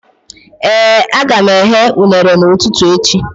Ee, aga m eghe unere n'ụtụtụ echi